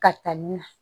Ka taa ni na